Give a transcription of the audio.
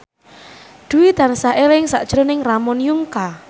Dwi tansah eling sakjroning Ramon Yungka